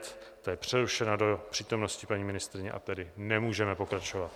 Ta je přerušena do přítomnosti paní ministryně a tedy nemůžeme pokračovat.